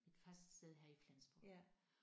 Mit fast sted her i Flensborg